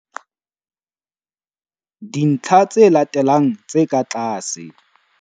Dintlha tse latelang tse ka tlase. dintlha tse latelang tse ka tlase.